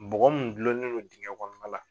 Bɔgɔ mun gulonnen no digɛn kɔnɔna la.